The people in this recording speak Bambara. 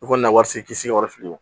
I kɔni ka wari se k'i sigi yɔrɔ fili